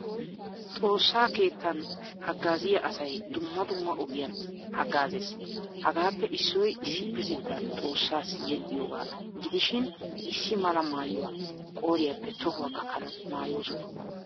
Xoossaa keettan haggaziyaa asay dumma dumma ogiyaan haggazees. Hagaappe issoy issipetettan xoossaasi yexiyoga gidishin issi mala maayuwaa qoriyappe tohuwaa gakkanawu maayoosona.